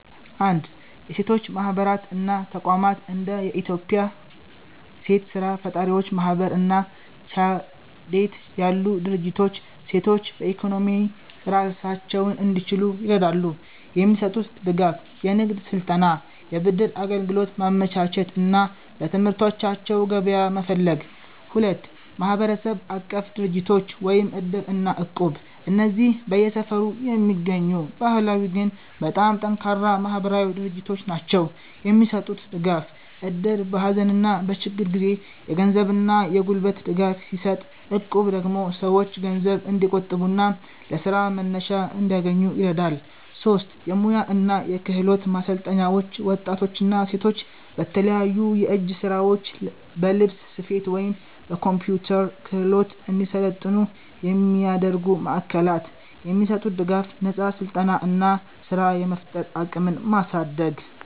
1. የሴቶች ማህበራት እና ተቋማት እንደ የኢትዮጵያ ሴት ስራ ፈጣሪዎች ማህበር እና ቻዴት ያሉ ድርጅቶች ሴቶች በኢኮኖሚ ራሳቸውን እንዲችሉ ይረዳሉ። የሚሰጡት ድጋፍ፦ የንግድ ስልጠና፣ የብድር አገልግሎት ማመቻቸት እና ለምርቶቻቸው ገበያ መፈለግ። 2. ማህበረሰብ-አቀፍ ድርጅቶች (እድር እና እቁብ) እነዚህ በየሰፈሩ የሚገኙ ባህላዊ ግን በጣም ጠንካራ ማህበራዊ ድርጅቶች ናቸው። የሚሰጡት ድጋፍ፦ እድር በሀዘንና በችግር ጊዜ የገንዘብና የጉልበት ድጋፍ ሲሰጥ፣ እቁብ ደግሞ ሰዎች ገንዘብ እንዲቆጥቡና ለስራ መነሻ እንዲያገኙ ይረዳል። 3. የሙያ እና የክህሎት ማሰልጠኛዎች ወጣቶችና ሴቶች በተለያዩ የእጅ ስራዎች፣ በልብስ ስፌት ወይም በኮምፒውተር ክህሎት እንዲሰለጥኑ የሚያደርጉ ማዕከላት። የሚሰጡት ድጋፍ፦ ነፃ ስልጠና እና ስራ የመፍጠር አቅምን ማሳደግ።